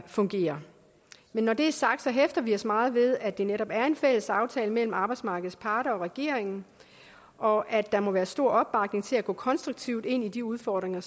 fungerer men når det er sagt hæfter vi os meget ved at det netop er en fælles aftale mellem arbejdsmarkedets parter og regeringen og at der må være stor opbakning til at gå konstruktivt ind i de udfordringer